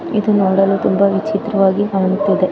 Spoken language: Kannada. ಇದು ನೋಡಲು ತುಂಬಾ ವಿಚಿತ್ರ ವಾಗಿ ಕಾಣುತ್ತಿದೆ .